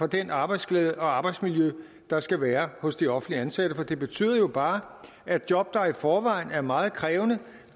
den arbejdsglæde og det arbejdsmiljø der skal være hos de offentligt ansatte for det betyder jo bare at job der i forvejen er meget krævende